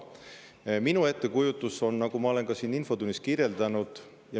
Minu ettekujutus on, nagu ma olen siin infotunnis kirjeldanud …